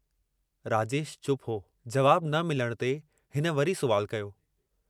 राजेश चुप हो, जवाब न मिलण ते हिन वरी सुवालु कयो।